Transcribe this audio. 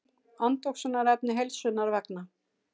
Andoxunarefni heilsunnar vegna.